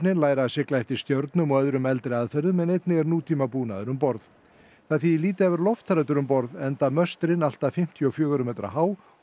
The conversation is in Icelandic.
læra að sigla eftir stjörnum og öðrum eldri aðferðum en einnig er um borð það þýðir lítið að vera lofthræddur um borð enda möstrin allt fimmtíu og fjögurra metra há og